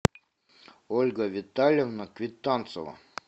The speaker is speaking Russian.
ольга витальевна квитанцева